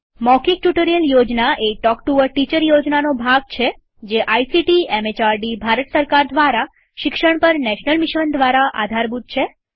મૌખિક ટ્યુટોરીયલ યોજના એ talk to a teacher યોજનાનો ભાગ છે જે આઇસીટીએમએચઆરડીભારત સરકાર દ્વારા શિક્ષણ પર નેશનલ મિશન દ્વારા આધારભૂત છે